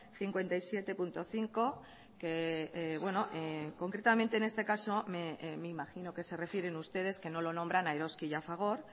cincuenta y siete punto cinco que concretamente en este caso me imagino que se refieren ustedes que no lo nombran a eroski y a fagor